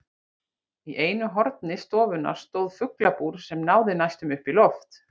Í einu horni stofunnar stóð fuglabúr sem náði næstum upp í loft.